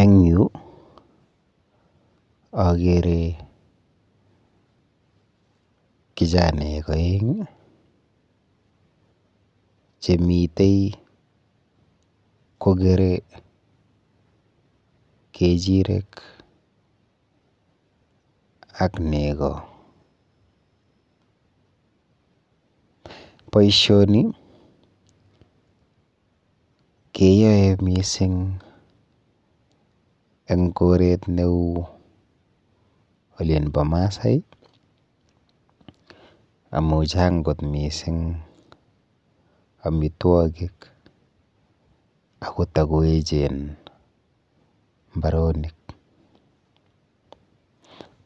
Eng yu akere kijanaek oeng chemite kokere kechirek ak nego. Boishoni keyoe mising eng koret neu olinpo Maasai amu chang kot mising amitwokik ako takoechen mbaronik.